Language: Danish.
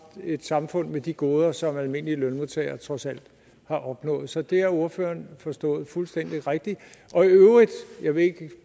et samfund med de goder som almindelige lønmodtagere trods alt har opnået så det har ordføreren forstået fuldstændig rigtigt i øvrigt jeg ved ikke